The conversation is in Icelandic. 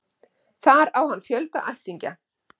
Þar á hann fjölda ættingja